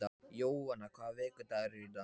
Jóanna, hvaða vikudagur er í dag?